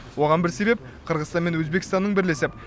оған бір себеп қырғызстан мен өзбекстанның бірлесіп